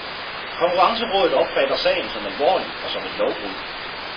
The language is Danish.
Konkurrencerådet opfatter sagen som alvorlig og som et lovbrud.